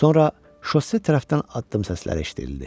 Sonra şosse tərəfdən addım səsləri eşidildi.